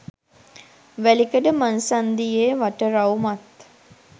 වැලිකඩ මංසන්ධියේ වටරවුමත්